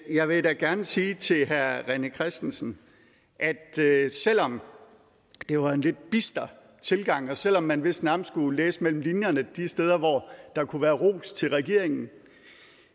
jeg vil da gerne sige til herre rené christensen at selv om det var en lidt bister tilgang og selv om man vist nærmest skulle læse det mellem linjerne de steder hvor der kunne være ros til regeringen